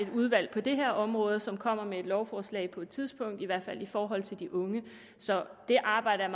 udvalg på det her område som kommer med et lovforslag på et tidspunkt i hvert fald i forhold til de unge så det arbejde er